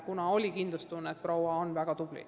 Meil oli kindlustunne, et Jõhvi kooli juhtiv proua on väga tubli.